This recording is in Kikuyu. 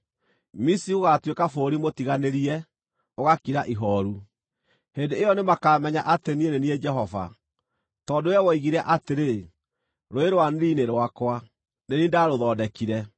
Misiri gũgaatuĩka bũrũri mũtiganĩrie, ũgakira ihooru. Hĩndĩ ĩyo nĩmakamenya atĩ niĩ nĩ niĩ Jehova. “ ‘Tondũ wee woigire atĩrĩ, “Rũũĩ rwa Nili nĩ rwakwa; nĩ niĩ ndarũthondekire,”